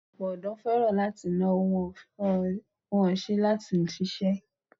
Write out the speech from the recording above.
Ọ̀pọ̀ ọdọ́ fẹ́ràn láti náwó, wọn ò ṣe tán láti ṣiṣẹ́.